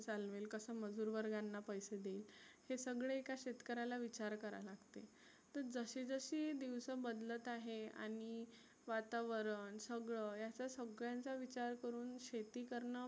चालवेल कसं मजुरवर्गांना पैसे देईल. हे सगळं एका शेतकऱ्याला विचार करा लागते. तर जशी जशी दिवस बदलत आहे आणि वातावरण सगळ या सगळ्यांचा विचार करुण शेती करण